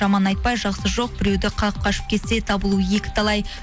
жаман айтпай жақсы жоқ біреуді қағып қашып кетсе табылуы екі талай